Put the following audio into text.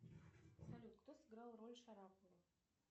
салют кто сыграл роль шарапова